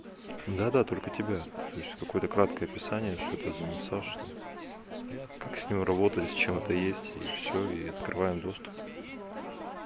да да только тебя то есть какой-то краткое описание что это за массаж там как с ним работать с чем это есть и всё и открываем доступ